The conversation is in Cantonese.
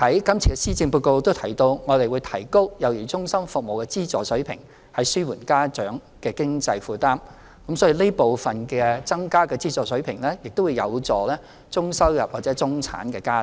這次施政報告也提到，我們會提高幼兒中心服務的資助水平，以紓緩家長的經濟負擔，所以這部分增加的資助水平，亦會有助中收入或中產家庭。